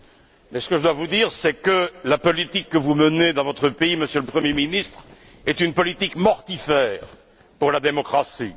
Mais ce que je dois vous dire, c'est que la politique que vous menez dans votre pays, Monsieur le Premier ministre, est une politique mortifère pour la démocratie.